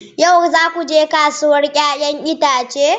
Yau za ku je kasuwar 'ya'yan itace?